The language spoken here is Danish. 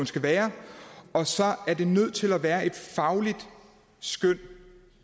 skal være og så er det nødt til at være et fagligt skøn